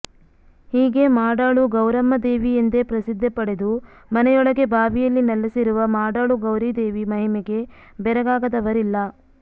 ಹೀಗೆ ಮಾಡಾಳು ಗೌರಮ್ಮ ದೇವಿ ಎಂದೇ ಪ್ರಸಿದ್ಧಿ ಪಡೆದು ಮನೆಯೊಳಗೆ ಬಾವಿಯಲ್ಲಿ ನಲೆಸಿರುವ ಮಾಡಾಳು ಗೌರಿದೇವಿ ಮಹಿಮೆಗೆ ಬೆರಗಾಗದವರಿಲ್ಲ